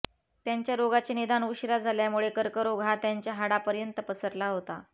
त्यांच्या रोगाचे निदान उशिरा झाल्यामुळे कर्करोग हा त्यांच्या हाडापर्यंत पसरला होता